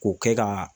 K'o kɛ ka